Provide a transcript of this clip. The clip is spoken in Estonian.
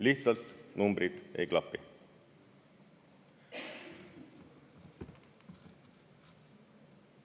Lihtsalt numbrid ei klapi.